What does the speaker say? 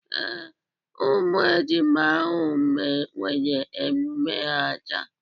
Ee, ụmụ ejima ahụ nwere emume ha taa.